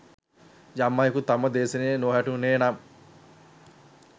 යම් අයෙකුට තම දේශනය නො වැටහුනේ නම්